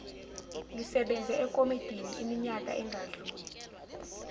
lisebenze ekomidiniiminyaka engadluli